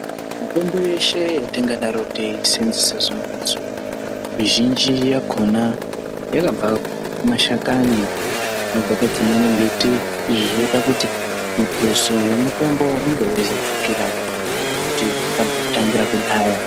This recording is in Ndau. Mitombo yeshe yatingadaro teisenzese zuwa ngezuwa mizhinji yakona yakabva kumashakani zvinobva padzimweni mbiti izvi zvinoita kuti muthuso wemitombo unge veidzakirawo. Tinoona kuti zvakarangira kudhaya.